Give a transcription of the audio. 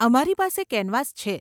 અમારી પાસે કેનવાસ છે.